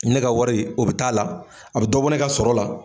Ne ka wari o bɛ t'a la, a bɛ dɔ bɔ ne ka sɔrɔ la.